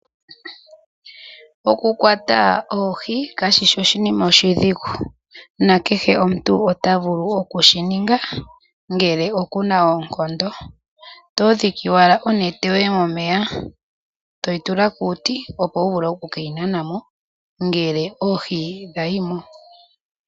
Okukwata oohi kashishi oshinima oshidhigu, na kehe omuntu ota vulu oku shi ninga ngele oku na oonkondo. Oto dhiki owala onete yoye momeya toyi tula kuuti opo wu vule oku keyi nana mo ngele oohi dha yimo.